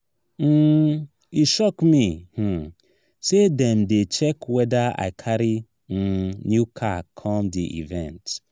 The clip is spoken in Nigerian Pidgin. um e shock me um sey dem dey check weda i carry um new car come di event.